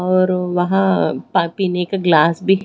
और वहां पा पिने का ग्लास भी--